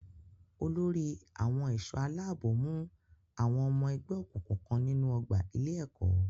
Olórí àwọn ẹ̀ṣọ́-aláàbò mú àwọn ọmọ ẹgbé òkùnkùn kan nínú ọgbà ilé-ẹ̀kọ́.